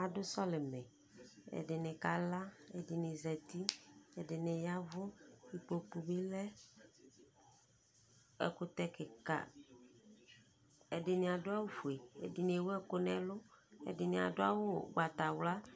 Adʋ sɔlimɛƐdini kala Ɛdini zatiƐdini yavʋIkpoku bi lɛƐkutɛ kikaƐdini adʋ awufueƐdini ewu ɛkʋ nɛlʋƐdini adʋ awu ugbatawla